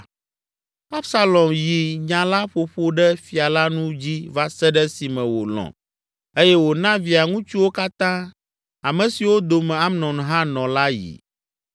Absalom yi nya la ƒoƒo ɖe fia la nu dzi va se ɖe esime wòlɔ̃ eye wòna via ŋutsuwo katã, ame siwo dome Amnon hã nɔ la yi.